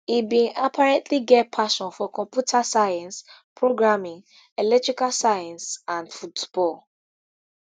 e bin apparently get passion for computer science programming electrical science and football